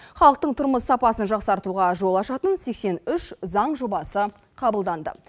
халықтың тұрмыс сапасын жақсартуға жол ашатын сексен үш заң жобасы қабылданды